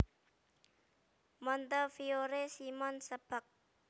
Montefiore Simon Sebag